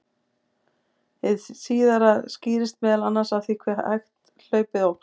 hið síðara skýrist meðal annars af því hve hægt hlaupið óx